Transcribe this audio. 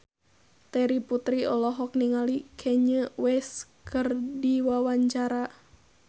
Terry Putri olohok ningali Kanye West keur diwawancara